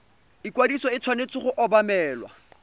ikwadiso e tshwanetse go obamelwa